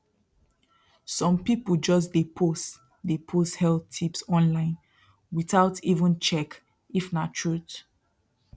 some people just dey post dey post health tips online without even check if na truth